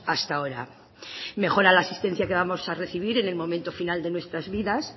hasta ahora mejora la asistencia que vamos a recibir en el momento final de nuestras vidas